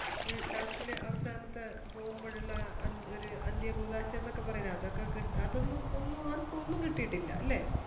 ആ ലാസ്റ്റില് അവസാനത്തെ പോവുമ്പോൾ ഉള്ള ആ അ ഒരു അന്ത്യകൂദാശ എന്നൊക്കെ പറയിലെ അതൊക്കെ കിട്ടാതെ ഒന്നും ഒന്നും ഒന്നും ആർക്കും ഒന്നും കിട്ടീട്ടില്ല അല്ലെ